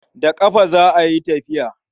Da ƙafa za a yi tafiya.